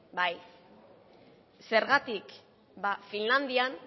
bai zergatik finlandian